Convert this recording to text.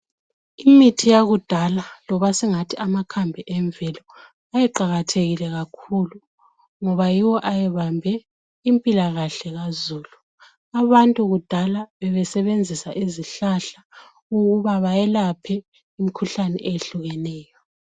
Imithi yakudala loba singathi amakhambi emvelo ayeqakathekile kakhulu ngoba yiwo ayebambe impilakahle kazulu. Abantu kudala besebenzisa izihlahla ukuba bayelaphe imikhuhlane eyehlukeneyo.